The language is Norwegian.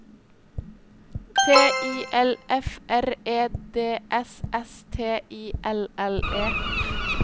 T I L F R E D S S T I L L E